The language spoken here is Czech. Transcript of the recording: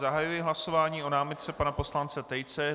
Zahajuji hlasování o námitce pana poslance Tejce.